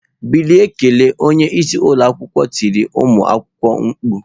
Bilie kelee! Onye isi ụlọ akwụkwọ tiri ụmụ akwụkwọ mkpu.